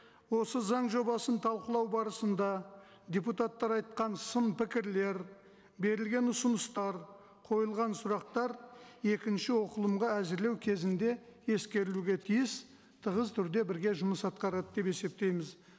осы заң жобасын талқылау барысында депутаттар айтқан сын пікірлер берілген ұсыныстар қойылған сұрақтар екінші оқылымға әзірлеу кезінде ескерілуге тиіс тығыз түрде бірге жұмыс атқарады деп есептейміз